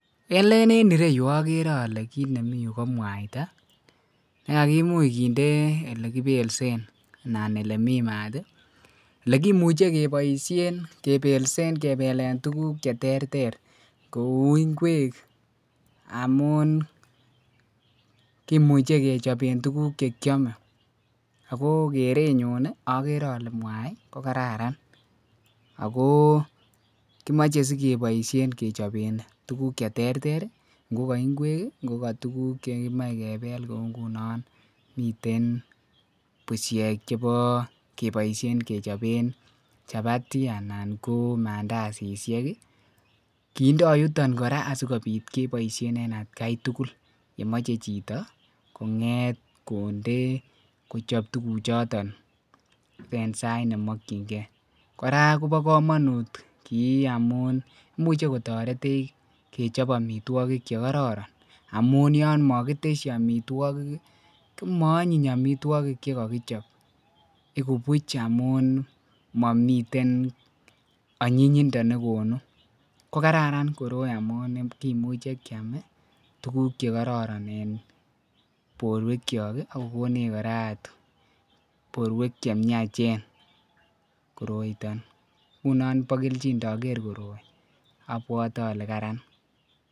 eleen en ireyuu ogeree olee kiit nemii yuu ko mwaita negagimuuch kinde elegibelseen anan elemii maat iih, elegimuche keboisheen kebeleen tuguk cheterter kouu ingweek amuun kimuche kechobeen tuguk chekyome ago kereenyun iih ogere olee mwaai kogararan, agoo kimoche sigeboishen kechobeen tuguk cheterter iih ngogoingweek iih ngogo tuguk chegimoe kebeel kouu ngunon miten busheek cheboo keboishen kechobeen chapati anan ko mandasisiek iih, kindoo yuton koraa asigobiit keboishen en atkaai tugul yemoche chitoo kongeet kondee kochob tuguk choton en saait nemokyingee, koraa kobo komonuut kii amuun imuche kotoretech kechob omitwogik chegororon amuun yoon mogitesyii omitwogiik iih komoonyiny omitwogiik chegogichob, igubuch omuun momiteen onyinyindo negonuu kogararan koroii amuun kimuche kyaam iih tuguk chegororon en borweek chook iih ak kogoneech koraa aat borweek chemyachen koroi iiton ngunon bokelchin ndogeer koroi oobwote olee karaan.